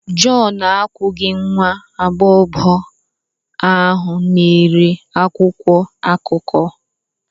John akwụghị nwa agbọghọ ahụ na-ere akwụkwọ akụkọ.